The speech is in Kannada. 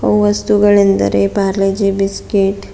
ವಸ್ತುಗಳೆಂದರೆ ಪಾರ್ಲೆ ಜಿ ಬಿಸ್ಕೆಟ್ --